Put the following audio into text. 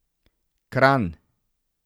Kranj.